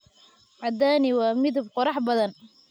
Cadaani waa midab qurux badan.